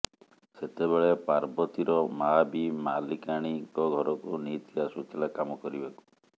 ସେତେବେଳେ ପାର୍ବତୀର ମାଆ ବି ମାଲିକାଣୀଙ୍କ ଘରକୁ ନିଇତି ଆସୁଥିଲା କାମ କରିବାକୁ